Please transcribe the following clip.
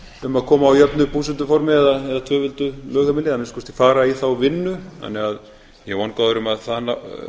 um að koma á jöfnu búsetuformi eða tvöföldu lögheimili eða að minnsta kosti fara í þá vinnu þannig að ég er vongóður um að